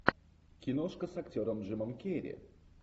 киношка с актером джимом керри